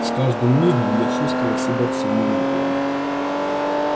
с каждым мигом я чувствовал себя всё нелепее